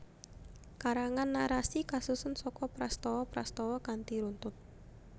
Karangan narasi kasusun saka prastawa prastawa kanthi runtut